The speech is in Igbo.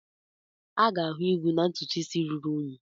A ga-ahụ igwu na ntutu isi ruru unyi.